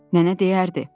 Nənə deyərdi.